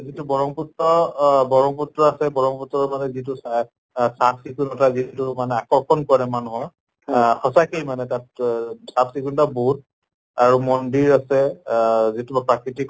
যিটো ব্ৰহ্মপুত্ৰ অহ ব্ৰহ্মপুত্ৰ আছে ব্ৰহ্মপুত্ৰ মানে যিটো চা আহ চাফ চিকূণ্তা যিটো মানে আকৰ্ষণ কৰে মানুহৰ আহ সঁচাকে মানে তাত অহ চাফ চিকূণ্তা বহুত আৰু মন্দিৰ আছে আহ যিটো বা প্ৰাকৃতিক